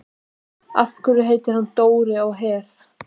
Af hverju heitir hann Dóri á Her?